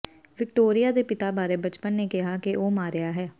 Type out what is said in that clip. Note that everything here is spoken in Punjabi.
ਵਿਕਟੋਰੀਆ ਦੇ ਪਿਤਾ ਬਾਰੇ ਬਚਪਨ ਨੇ ਕਿਹਾ ਕਿ ਉਹ ਮਾਰਿਆ ਗਿਆ